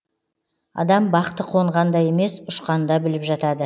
адам бақты қонғанда емес ұшқанда біліп жатады